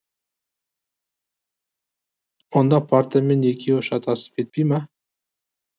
онда партамен екеуі шатасып кетпей ме